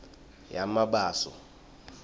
yamabaso